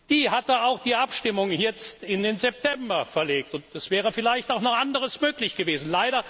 Diese hatte auch die Abstimmung jetzt in den September verlegt, und es wäre vielleicht auch noch anderes möglich gewesen.